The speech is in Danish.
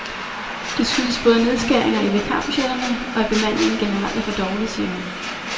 Det skyldes både nedskæringer i vikarbudgetterne, og at bemandingen generelt er for dårlig, siger hun.